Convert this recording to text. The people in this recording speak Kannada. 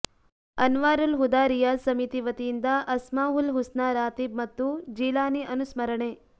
ಅನ್ವಾರುಲ್ ಹುದಾ ರಿಯಾದ್ ಸಮಿತಿ ವತಿಯಿಂದ ಅಸ್ಮಾಹುಲ್ ಹುಸ್ನಾ ರಾತೀಬ್ ಮತ್ತು ಜೀಲಾನಿ ಅನುಸ್ಮರಣೆ